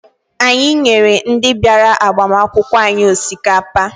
Anyị nyere ndị bịara agbamakwụkwọ anyị osikapa.